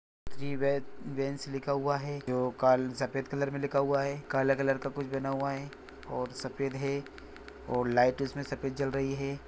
Three beans लिखा हुआ है जो काल- सफ़ेद कलर मे लिखा हुआ है काला कलर मे कुछ बना हुआ है और सफ़ेद है और लाइट इसमे सफ़ेद जल रही है।